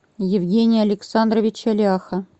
евгения александровича ляха